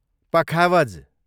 पखावज